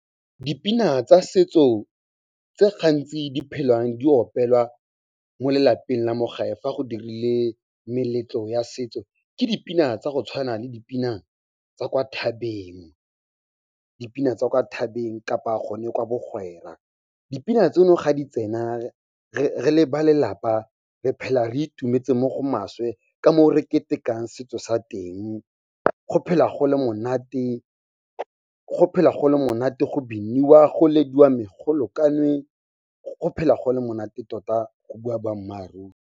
Dipina tsa setso tse gantsi di phelang di opelwa mo lelapeng la mo gae fa go dirile meletlo ya setso. Ke dipina tsa go tshwana le di pina tsa kwa thabeng kapa gone kwa bagwera. Dipina tseno ga di tsena re le ba lelapa, re phela re itumetse mo go maswe ka moo re ketekang setso sa teng. Go phela go le monate, go biniwa go lediwa megolokanwe, go phela go le monate tota go bua boammaaruri.